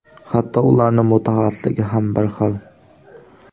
Hatto ularning mutaxassisligi ham bir xil.